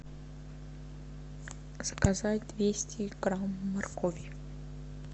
заказать двести грамм моркови